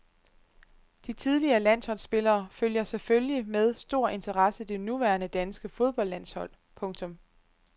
De tidligere landsholdspillere følger selvfølgelig med stor interesse det nuværende danske foldboldlandshold. punktum